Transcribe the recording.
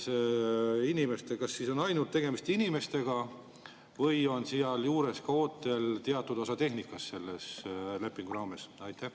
Kas tegemist on ainult inimestega või on sealjuures ootel ka teatud osa tehnikast selle lepingu raames?